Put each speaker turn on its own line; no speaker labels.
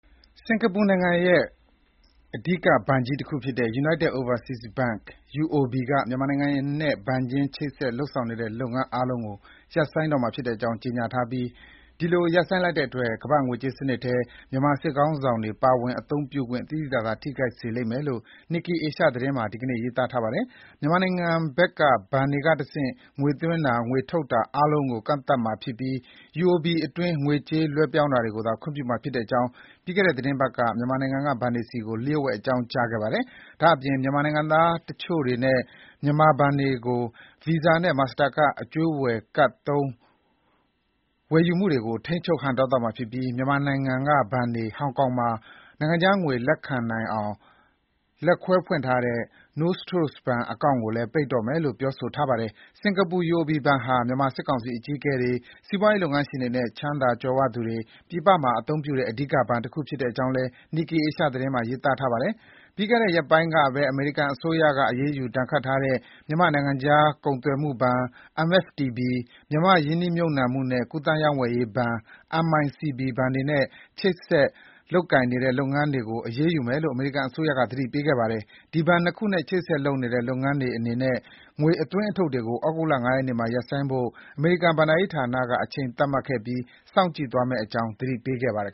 စင်္ကာပူနိုင်ငံရဲ့ အဓိက ဘဏ်ကြီးတခုဖြစ်တဲ့ United Overseas Bank UOB က မြန်မာနိုင်ငံနဲ့ ဘဏ်ချင်း ချိတ်ဆက် လုပ်ဆောင်နေတဲ့ လုပ်ငန်း အားလုံးကို ရပ်ဆိုင်းတော့မှာ ဖြစ်တဲ့အကြောင်း ကြေညာထားပြီး ဒီလို ရပ်ဆိုင်းလိုက်တဲ့အတွက် ကမ္ဘာ့ငွေကြေးစနစ်ထဲ မြန်မာစစ်ခေါင်းဆောင်တွေ ပါဝင် အသုံးပြုခွင့် သိသိသာသာ ထိခိုက်စေလိမ့်မယ်လို့ Nikkei Asia သတင်းမှာ ဒီနေ့ ရေးသားထားပါတယ်။ မြန်မာနိုင်ငံဘက်က ဘဏ်တွေကတဆင့် ငွေသွင်းတာ၊ ငွေထုတ်တာ အားလုံးကို ကန့်သတ်မှာဖြစ်ပြီး UOB အတွင်း ငွေကြေး လွှဲပြောင်းတာကိုသာ ခွင့်ပြုမှာ ဖြစ်တဲ့အကြောင်း ပြီးခဲ့တဲ့ သီတင်းပတ်က မြန်မာနိုင်ငံက ဘဏ်တွေဆီကို လျှို့ဝှက် အကြောင်းကြားခဲ့ပါတယ်။ ဒါ့အပြင် မြန်မာနိုင်ငံသားတွေနဲ့ မြန်မာဘဏ်တွေကို Visa နဲ့ Master Card အကြွေးဝယ်ကဒ်သုံး ဝယ်ယူမှုတွေကို ထိန်းချုပ်ဟန့်တားသွားမှာ ဖြစ်ပြီး မြန်မာနိုင်ငံက ဘဏ်တွေ ဟောင်ကောင်မှာ နိုင်ငံခြားငွေ လက်ခံနိုင်အောင် လက်ခွဲဖွင့်ထားတဲ့ Nostro ဘဏ်အကောင့်တွေကိုလည်း ပိတ်တော့မယ်လို့ ပြောဆိုထားပါတယ်။ စင်္ကာပူ UOB ဘဏ်ဟာ မြန်မာစစ်ကောင်စီအကြီးအကဲတွေ စီးပွားရေးလုပ်ငန်းရှင်တွေနဲ့ ချမ်းသာကြွယ်ဝသူတွေ ပြည်ပမှာ အသုံးပြုတဲ့ အဓိက ဘဏ်တခု ဖြစ်တဲ့အကြောင်းလည်း Nikkei Asia သတင်းမှာ ရေးသားထားပါတယ်။ ပြီးခဲ့တဲ့ ရက်ပိုင်းကပဲ အမေရိကန်အစိုးရ အရေးယူ ဒဏ်ခတ်ထားတဲ့ မြန်မာ့နိုင်ငံခြား ကုန်သွယ်မှုဘဏ် ၊ မြန်မာ့ရင်းနှီးမြုပ်နှံမှုနဲ့ ကူးသန်း ရောင်းဝယ်ရေးဘဏ် ဘဏ်တွေနဲ့ ဆက်လက်ချိတ်ဆက် လုပ်ကိုင်နေတဲ့ လုပ်ငန်းတွေကို အရေးယူမယ်လို့ အမေရိကန်အစိုးရက သတိပေးခဲ့ပါတယ်။ အဲဒီဘဏ် ၂ ခုနဲ့ ချိတ်ဆက်လုပ်နေတဲ့ လုပ်ငန်းတွေအနေနဲ့ ငွေအသွင်းအထုတ်တွေကို ဩဂုတ်လ ၅ ရက်နေ့မှာ ရပ်ဆိုင်းဖို့ အမေရိကန်ဘဏ္ဍာရေးဌာနက အချိန်သတ်မှတ်ခဲ့ပြီး စောင့်ကြည့်သွားမယ့် အကြောင်း သတိပေးခဲ့ပါတယ်